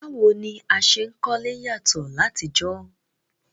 Báwo ni a se n kólé yàtọ́ látijọ́